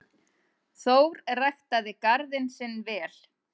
Þórir ræktaði garðinn sinn vel.